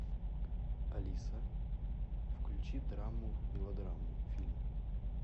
алиса включи драму мелодраму фильм